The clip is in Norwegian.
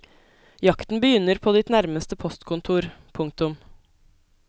Jakten begynner på ditt nærmeste postkontor. punktum